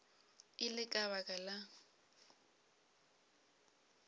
e le ka baka la